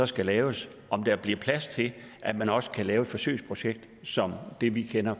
skal laves bliver plads til at man også kan lave et forsøgsprojekt som det vi kender